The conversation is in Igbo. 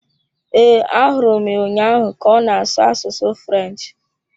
Ee, ahụrụ m ya ụnyaahụ ka ọ na-asụ asụsụ French.